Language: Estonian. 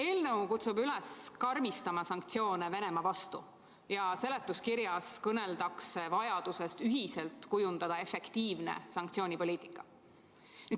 Eelnõu kutsub üles karmistama sanktsioone Venemaa vastu ja seletuskirjas kõneldakse vajadusest ühiselt kujundada efektiivne sanktsioonipoliitika.